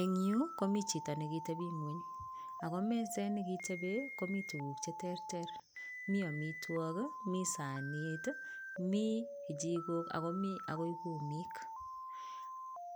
Eng yu komi chito nekitebi ng'ony ako meset nekitepe komi tuguk cheterter, mi amitwok, mi sanit, mi kichikok akomi akoi kumik